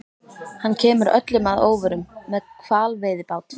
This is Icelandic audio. Hann kemur öllum að óvörum- með hvalveiðibát!